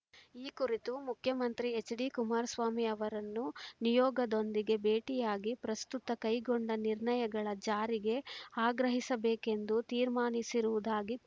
ಈ ಕುರಿತು ಮುಖ್ಯಮಂತ್ರಿ ಎಚ್‌ಡಿಕುಮಾರಸ್ವಾಮಿ ಅವರನ್ನು ನಿಯೋಗದೊಂದಿಗೆ ಭೇಟಿಯಾಗಿ ಪ್ರಸ್ತುತ ಕೈಗೊಂಡ ನಿರ್ಣಯಗಳ ಜಾರಿಗೆ ಆಗ್ರಹಿಸಬೇಕೆಂದು ತೀರ್ಮಾನಿಸಿರುವುದಾಗಿ